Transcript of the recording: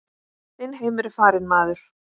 Þinn heimur er farinn maður.